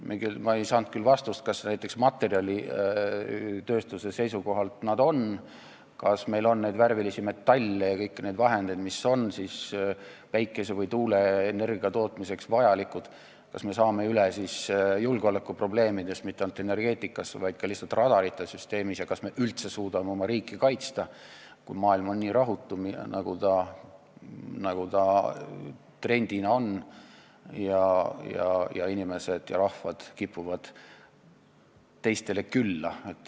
Ma ei saanud küll vastust, kas näiteks materjalitööstuse seisukohalt nad seda on, kas meil on värvilisi metalle ja kõiki neid vahendeid, mis on päikese- või tuuleenergia tootmiseks vajalikud, kas me saame üle julgeolekuprobleemidest, mitte ainult energeetikas, vaid ka lihtsalt radarite süsteemi mõttes ja kas me üldse suudame oma riiki kaitsta, kui maailm on nii rahutu, nagu ta trendina on ning inimesed ja rahvad kipuvad teistele külla.